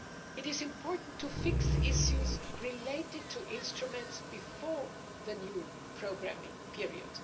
It is important to fix issues related to instruments before the new programming period.